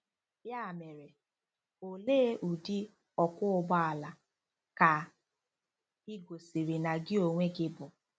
Ya mere, olee ụdị “ ọkwọ ụgbọ ala ” ka ị gosiri ná gị onwe gị ịbụ?